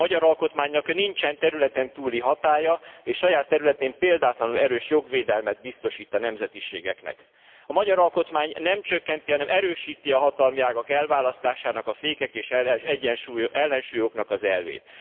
A magyar alkotmánynak nincsen területen túli hatálya és saját területén példátlanul erős jogvédelmet biztosít a nemzetiségeknek. A magyar alkotmány nem csökkenti, hanem erősíti a hatalmi ágak elválasztásának, a fékek és ellensúlyoknak az elvét.